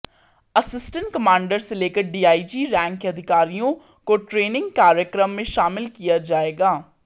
assistant commander से लेकर DIG rank के अधिकारियों को ट्रेनिंग कार्यक्रम में शामिल किया जाएगा